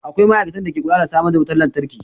Akwai ma'aikatan da ke kula da samar da wutan lantarki.